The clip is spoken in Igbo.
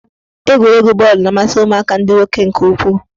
Egwuregwu bọọlụ na-amasị ụmụaka ndị nwoke nke ukwuu.